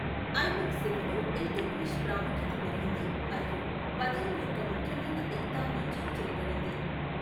ఐబక్ సేవలో ఇల్తుట్మిష్ ప్రాముఖ్యత పెరిగింది మరియు బదౌన్ యొక్క ముఖ్యమైన ఇక్తా మంజూరు చేయబడింది.